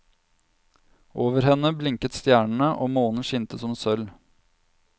Over henne blinket stjernene og månen skinte som sølv.